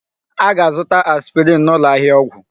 A ga-azụta aspirin n'ụlọ ahịa ọgwụ.